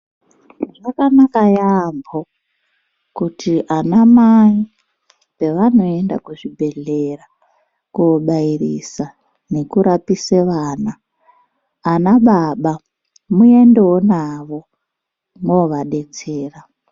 Zvakanaka yaambo kuti anamai pavanoenda kuzvibhedhlera koobairisa nekurapise vana, anababa muendewo navo moovadetsera.